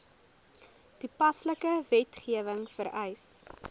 toepaslike wetgewing vereis